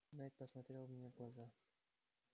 найд посмотрел мне в глаза